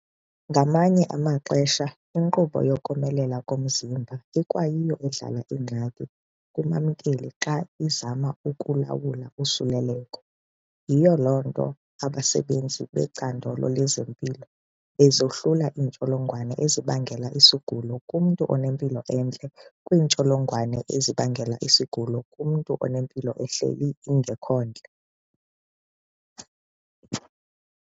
Ngamanye amaxesha inkqubo yokomelela komzimba ikwayiyo edala iingxaki kumamkeli xa izama ukulawula usuleleko. Yiyo loo nto abasebenzi becandelo lezempilo bezahlula iintsholongwane ezibangela isigulo kumntu onempilo entle kwiintsholongwane ezibangela isigulo kumntu onempilo ehleli ingekhontle.